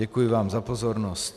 Děkuji vám za pozornost.